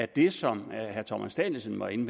det som herre thomas danielsen var inde